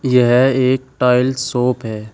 यह एक tiles shop है।